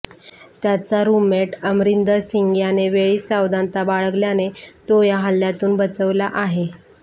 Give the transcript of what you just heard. त्याचा रुममेट अमरिंदर सिंग यांने वेळीच सावधनता बाळगल्याने तो या हल्ल्यातून बचावला आहे